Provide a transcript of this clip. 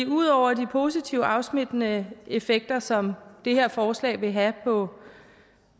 ud over de positive afsmittende effekter som det her forslag vil have på